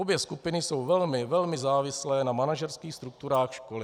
Obě skupiny jsou velmi, velmi závislé na manažerských strukturách školy.